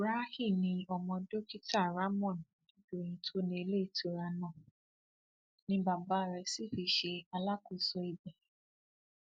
rahee ni ọmọ dókítà rahmon adédọyìn tó ní iléetura náà ni bàbá rẹ sì fi ṣe alákòóso ibẹ